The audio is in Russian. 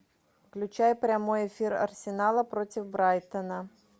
включай прямой эфир арсенала против брайтона